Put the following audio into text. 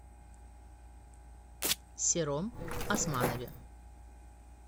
сером османове